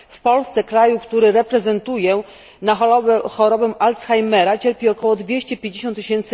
W Polsce, kraju który reprezentuję, na chorobę Alzheimera cierpi około 250 tys.